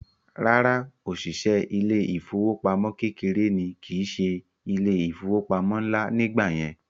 Rárá, òṣìṣẹ́ ilé ìfowópamọ́ kékeré ní kìí se ilé ìfowópamọ́ ńlá nígbà yẹn